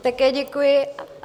Také děkuji.